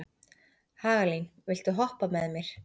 Hagalín, viltu hoppa með mér?